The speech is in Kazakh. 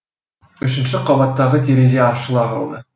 үшінші қабаттағы терезе ашыла қалды